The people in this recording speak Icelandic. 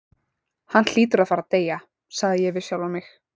Hann hlýtur að fara að deyja, sagði ég við sjálfan mig.